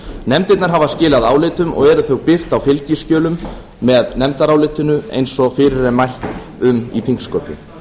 nefndirnar hafa skilað álitum og eru þau birt á fylgiskjölum með nefndarálitinu eins og fyrir er mælt um í þingsköpum